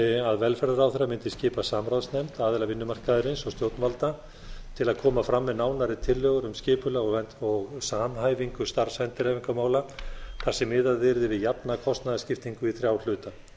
að velferðarráðherra mundi skipa samráðsnefnd aðila vinnumarkaðarins og stjórnvalda til að koma fram með nánari tillögur um skipulag og samhæfingu starfsendurhæfingarmála þar sem miðað yrði við jafna kostnaðarskiptingu í þrjá hluta